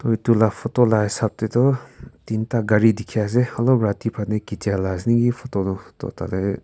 etu la photo la hisab te toh tinta gari dikhi ase olop rati phane khichia laga ase naki photo tu toh tate.